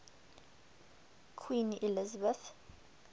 queen elizabeth